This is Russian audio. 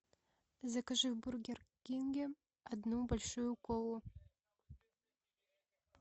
закажи в бургер кинге одну большую колу